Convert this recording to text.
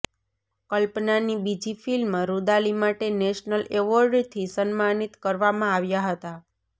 કલ્પનાની બીજી ફિલ્મ રુદાલી માટે નેશનલ એવોર્ડથી સન્માનિત કરવામાં આવ્યા હતા